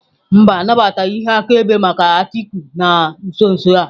Mba, anabataghị ihe akaebe maazị Atiku na nso nso a.